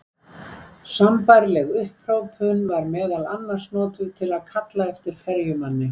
Sambærileg upphrópun var meðal annars notuð til að kalla eftir ferjumanni.